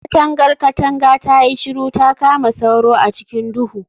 Katangar katanga tayi shiru ta kama sauro a cikin duhu